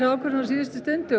ákvörðun á síðustu stundu